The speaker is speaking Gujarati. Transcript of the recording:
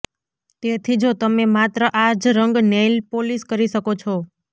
તેથી જો તમે માત્ર આ જ રંગ નેઇલ પોલીશ કરી શકો છો